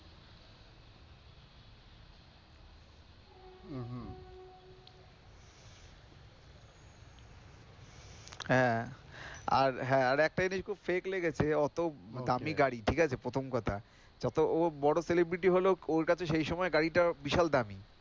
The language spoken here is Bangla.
হ্যাঁ, আর হ্যাঁ আর একটা জিনিস খুব fake লেগেছে, অত দামি গাড়ি ঠিক আছে প্রথম কথা যত ও বড়ো celebrity হলেও ওর কাছে সেই সময় গাড়িটা বিশাল দামি।